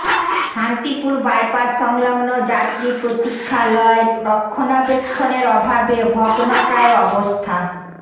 Shantipur bypass সংলগ্ন যাত্রী প্রতীক্ষালয় রক্ষণাবেক্ষণের অভাবে ভগ্নপ্রায় অবস্থা